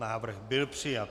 Návrh byl přijat.